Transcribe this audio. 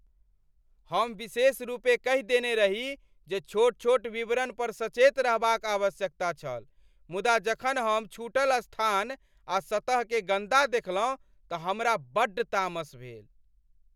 हम विशेषरूपेँ कहि देने रही जे छोट छोट विवरण पर सचेत रहबाक आवश्यकता छल मुदा जखन हम छूटल स्थान आ सतह केँ गन्दा देखलहुँ तँ हमरा बड्ड तामस भेल।